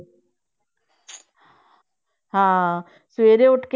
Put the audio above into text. ਹਾਂ ਸਵੇਰੇ ਉੱਠ